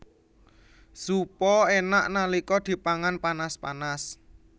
Zupa enak nalika dipangan panas panas